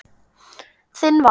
Þinn Valur.